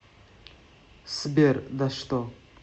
сбер да что